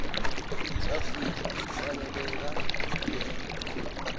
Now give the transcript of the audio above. afrika ufaneleka kunikelwa